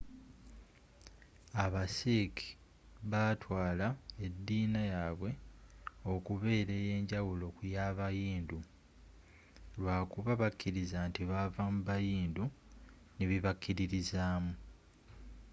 aba sikh batwaala ediina yabwe okubeera eyenjawulo ku yaba hindu lwakuba bakiriza nti baava mu bahindu n'ebyebakiririzaamu